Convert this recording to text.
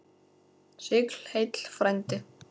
Sigl heill frændi.